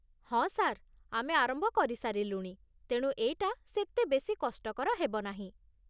ହଁ, ସାର୍, ଆମେ ଆରମ୍ଭ କରିସାରିଲୁଣି ତେଣୁ ଏଇଟା ସେତେ ବେଶି କଷ୍ଟକର ହେବ ନାହିଁ ।